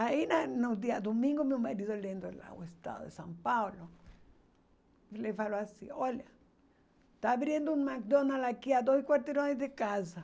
Aí né no dia domingo, meu marido olhando lá o estado de São Paulo, ele falou assim, olha, está abrindo um McDonald's aqui a dois quarteirões de casa.